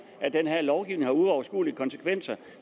at den her lovgivning har uoverskuelige konsekvenser